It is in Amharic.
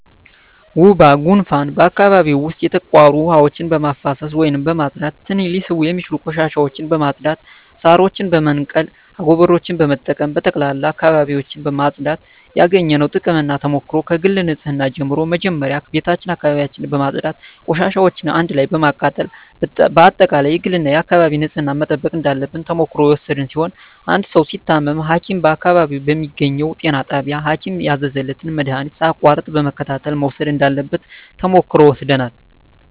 ወባ ጉንፋን በአካባቢው ዉስጥ የተቋሩ ዉሀዎችን በማፋሰስ ወይም በማፅዳት ትንኝ ሊስቡ የሚችሉ ቆሻሻዎችን በማፅዳት ሳሮችን በመንቀል አጎበሮችን በመጠቀም በጠቅላላ አካባቢዎችን ማፅዳት ያገኘነዉ ጥቅምና ተሞክሮ ከግል ንፅህና ጀምሮ መጀመሪያ ቤታችን አካባቢያችን በማፅዳት ቆሻሻዎችን አንድ ላይ በማቃጠል በአጠቃላይ የግልና የአካባቢ ንፅህናን መጠበቅ እንዳለብን ተሞክሮ የወሰድን ሲሆን አንድ ሰዉ ሲታመም ሀኪም በአካባቢው በሚገኘዉ ጤና ጣቢያ ሀኪም ያዘዘለትን መድሀኒት ሳያቋርጥ በመከታተል መዉሰድ እንዳለበት ተሞክሮ ወስደናል